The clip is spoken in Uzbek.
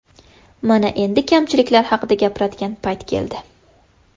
Mana endi kamchiliklar haqida gapiradigan payt keldi.